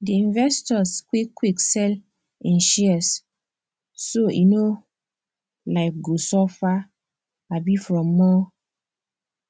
the investor quick quick sell im shares so e no um go suffer um from more